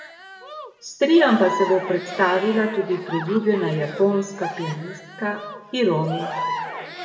S triom pa se bo predstavila tudi priljubljena japonska pianistka Hiromi.